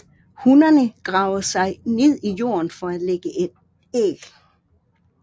Hunnerne graver sig ned i jorden for at lægge æg